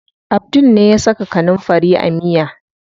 Abdul ne ya saka kanunfari a miya.